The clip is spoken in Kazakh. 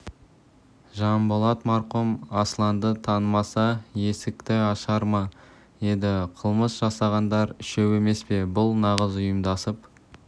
жанболат марқұм асланды танымаса есікті ашар ма еді қылмыс жасағандар үшеу емес пе бұл нағыз ұйымдасып